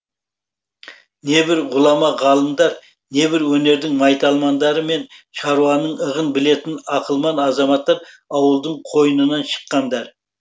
небір ғұлама ғалымдар небір өнердің майталмандары мен шаруаның ығын білетін ақылман азаматтар ауылдың қойнынан шыққандар